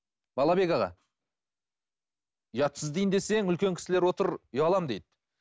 балабек аға ұятсыз дейін десең үлкен кісілер отыр ұяламын дейді